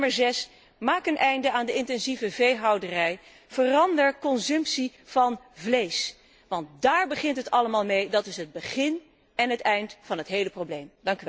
En ten zesde maak een einde aan de intensieve veehouderij, verander consumptie van vlees, want daar begint het allemaal mee. Dat is het begin en het eind van het hele probleem.